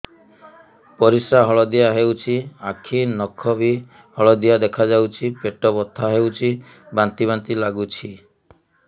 ପରିସ୍ରା ହଳଦିଆ ହେଉଛି ଆଖି ନଖ ବି ହଳଦିଆ ଦେଖାଯାଉଛି ପେଟ ବଥା ହେଉଛି ବାନ୍ତି ବାନ୍ତି ଲାଗୁଛି